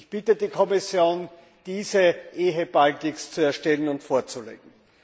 Ich bitte die Kommission diese ehebaldigst zu erstellen und vorzulegen.